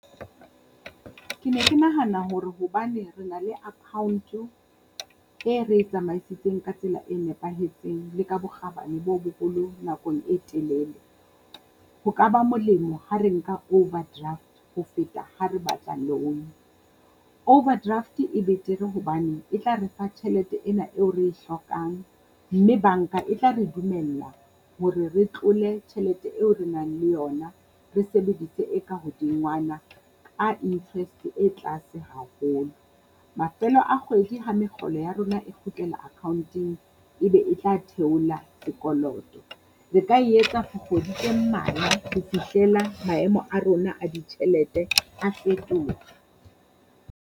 Ke ne ke nahana hore hobane re na le account-o e re e tsamaisitseng ka tsela e nepahetseng le ka bokgabane bo boholo nakong e telele. Ho ka ba molemo ha re nka overdraft ho feta ha re batla loan, overdraft e betere hobane e tla re fa tjhelete ena eo re e hlokang mme banka e tla re dumella hore re tlole tjhelete eo re nang le yona, re sebedise e ka hodingwana ka interest e tlase haholo. Mafelo a kgwedi ha mekgolo ya rona e kgutlela akhaonteng, e be e tla theola sekoloto. Re ka etsa for kgwedi tse mmalwa ho fihlela maemo a rona a ditjhelete a fetoha.